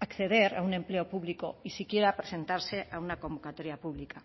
acceder a un empleo público y si quiera presentarse a una convocatoria pública